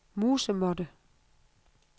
musemåtte